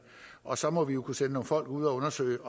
og så må vi kunne sende nogle folk ud at undersøge